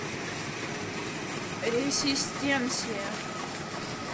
ресистенсия